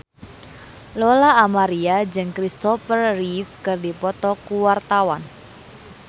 Lola Amaria jeung Christopher Reeve keur dipoto ku wartawan